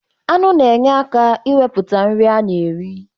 Aṅụ na-enye aka iwepụta nri a na-eri